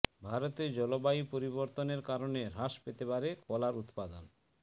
ভারতে জলবায়ু পরিবর্তনের কারণে হ্রাস পেতে পারে কলার উত্পাদন